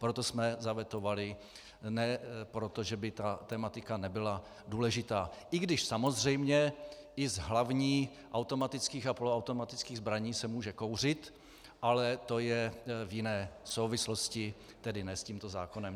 Proto jsme zavetovali, ne proto, že by ta tematika nebyla důležitá, i když samozřejmě i z hlavní automatických a poloautomatických zbraní se může kouřit, ale to je v jiné souvislosti, tedy ne s tímto zákonem.